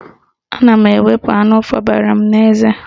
Ana m ewepu anụ fobara m n'eze.